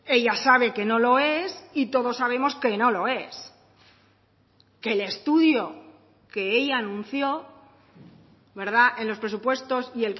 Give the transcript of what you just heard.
ella sabe que no lo es y todos sabemos que no lo es que el estudio que ella anunció en los presupuestos y